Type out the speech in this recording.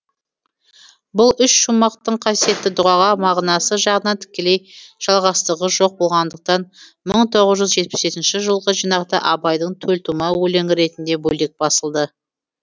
бұл үш шумақтың қасиетті дұғаға мағынасы жағынан тікелей жалғастығы жоқ болғандықтан мың тоғыз жүз жетпіс жетінші жылғы жинақта абайдың төлтума өлеңі ретінде бөлек басылды